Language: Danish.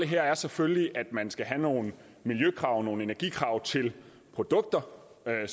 her er selvfølgelig at man skal have nogle miljøkrav nogle energikrav til produkter